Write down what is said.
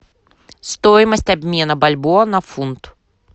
стоимость обмена бальбоа на фунт